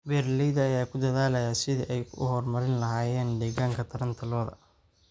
Beeralayda ayaa ku dadaalaya sidii ay u horumarin lahaayeen deegaanka taranta lo'da.